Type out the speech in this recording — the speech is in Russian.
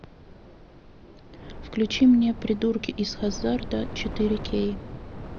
включи мне придурки из хаззарда четыре кей